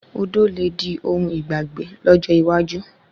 Odò le di ohun ìgbàgbé lọ́jọ́ iwájú